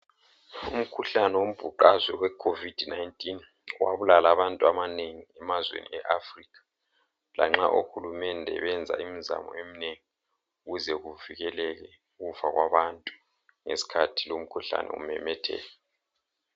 Umkhuhlane wombhuqazwe we khovid 19 wabulala abantu abanengi kuzwekazi le Africa lanxa uhulumende wenza imzamo eminengi ukuze kuvikeleke ukufa kwabantu ngesikhathi umkhuhlane umemetheka.